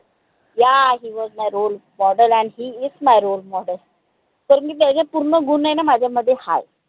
yaa he was my role model and he is my role model कारनकी त्यायचे पूर्ण गुन हाय न माझ्यामध्ये हाय